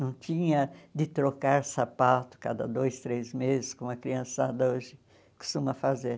Não tinha de trocar sapato cada dois, três meses, como a criançada hoje costuma fazer.